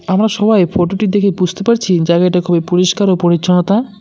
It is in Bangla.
আমরা সবাই ফোটো -টি দেখে বুঝতে পারছি জায়গাটি খুবই পরিষ্কার ও পরিচ্ছন্নতা--